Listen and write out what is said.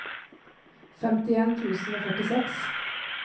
femtien tusen og førtiseks